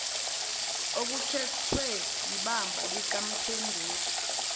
okukhethwe yibamba likamphenduli